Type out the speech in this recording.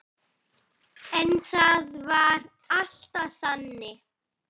En það var alltaf þannig.